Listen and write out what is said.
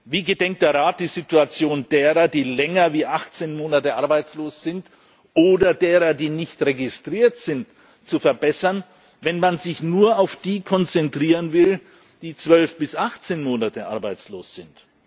Wie gedenkt der Rat, die Situation derer, die länger als 18 Monate arbeitslos sind oder derer, die nicht registriert sind, zu verbessern, wenn man sich nur auf die konzentrieren will, die 12 bis 18 Monate arbeitslos sind?